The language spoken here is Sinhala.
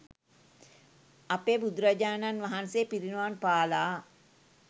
අපේ බුදුරජාණන් වහන්සේ පිරිනිවන්පාලා